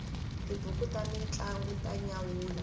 tibuku ta mintlangu ta nyanyula